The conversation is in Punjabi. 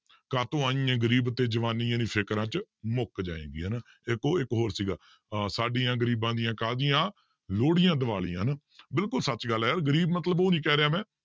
ਕਾਹਤੋਂ ਆਈ ਹੈ ਗ਼ਰੀਬ ਤੇ ਜਵਾਨੀਏ ਨੀ ਫ਼ਿਕਰਾਂ 'ਚ ਮੁੱਕ ਜਾਏਂਗੀ ਹਨਾ, ਇੱਕ ਉਹ ਇੱਕ ਹੋਰ ਸੀਗਾ ਆਹ ਸਾਡੀਆਂ ਗ਼ਰੀਬਾਂ ਦੀਆਂ ਕਾਹਦੀਆਂ ਲੋਹੜੀਆਂ ਦੀਵਾਲੀਆਂ ਹਨਾ ਬਿਲਕੁਲ ਸੱਚ ਗੱਲ ਹੈ ਯਾਰ ਗ਼ਰੀਬ ਮਤਲਬ ਉਹ ਨੀ ਕਹਿ ਰਿਹਾ ਮੈਂ